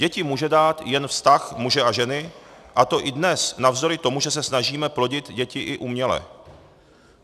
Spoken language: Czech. Děti může dát jen vztah muže a ženy, a to i dnes navzdory tomu, že se snažíme plodit děti i uměle.